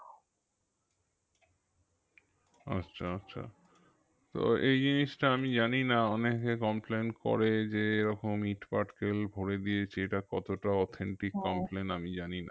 আচ্ছা আচ্ছা তো এই জিনিসটা আমি জানিনা অনেকে complain করে যে এরকম ইট পাটকেল ভোরে দিয়েছে এটা কতটা authentic আমি জানিনা